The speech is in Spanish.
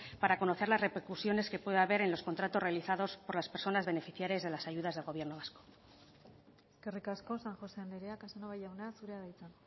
para conocer las repercusiones que pueda haber en los contratos realizados por las personas beneficiarias de las ayudas del gobierno vasco eskerrik asko san josé andrea casanova jauna zurea da hitza